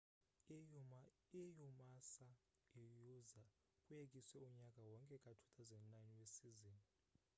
i-umassa iuza kuyekiswa unyaka wonke ka-2009 wesizini